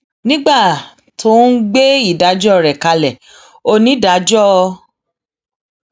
nígbà tó ń gbé ìdájọ rẹ kalẹ onídàájọ f